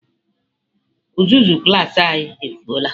Uzuzu klas anyị efụo la.